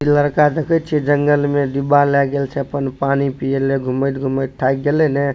लड़का देखे छीये जंगल में डिब्बा ले गेएल छै अपन पानी पिए ले घुमएत घुमएत थाएक गेलेएने --